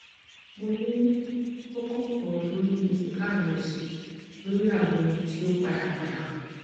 mo ni koko kan lori ejika mi osi lori awọn ti o pada pada